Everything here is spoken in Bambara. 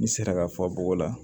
N'i sera ka fɔ bɔgɔ la